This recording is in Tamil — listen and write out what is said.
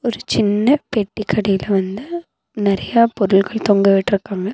ஒரு சின்ன பெட்டிக்கடையில வந்து நறையா பொருள்கள் தொங்கவிட்ருக்காங்க.